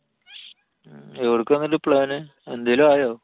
എവിടെക്കാ എന്നിട്ട് plan? എന്തേലും ആയോ?